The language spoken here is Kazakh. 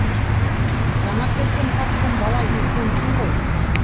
жаңа келген партком бала сенсің ғой